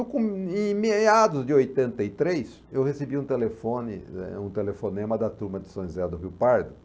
E com... Em meados de oitenta e três, eu recebi um telefone, eh um telefonema da turma de São José do Rio Pardo,